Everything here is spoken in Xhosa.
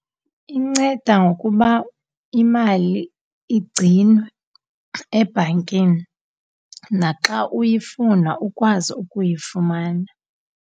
Inceda ngokuba imali igcinwe ebhankini naxa uyifuna ukwazi ukuyifumana.